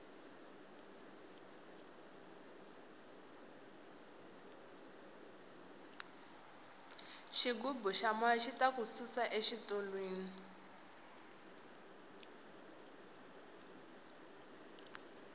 xigubu xa moya xita ku susa xitulwini